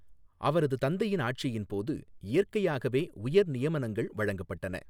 அவரது தந்தையின் ஆட்சியின் போது இயற்கையாகவே உயர் நியமனங்கள் வழங்கப்பட்டன.